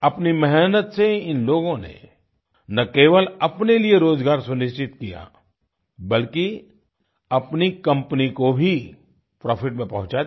अपनी मेहनत से इन लोगों ने ना केवल अपने लिए रोजगार सुनिश्चित किया बल्कि अपनी कंपनी को भी प्रॉफिट में पहुंचा दिया